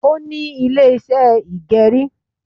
Ó ní Ilé iṣẹ́ ìgẹrí